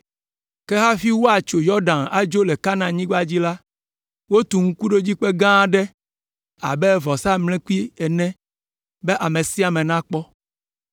Ke hafi woatso Yɔdan adzo le Kanaanyigba dzi la, wotu ŋkuɖodzikpe gã aɖe abe vɔsamlekpui ene be ame sia ame nakpɔ.